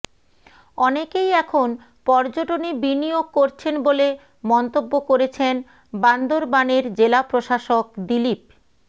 অনেকেই এখন পর্যটনে বিনিয়োগ করছেন বলে মন্তব্য করেছেন বান্দরবানের জেলা প্রশাসক দিলীপ